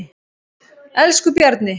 Elsku Bjarni.